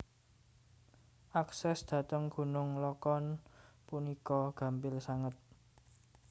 Akses dhateng gunung lokon punika gampil sanget